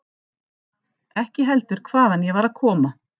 Ekki heldur hvaðan ég var að koma.